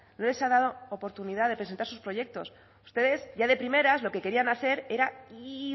no les ha dado oportunidad de presentar sus proyectos ustedes ya de primeras lo que querían hacer era y